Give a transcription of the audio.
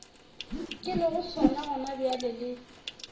ke lego sona gonabjale le